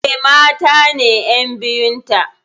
Eh, mata ne ƴan biyun ta.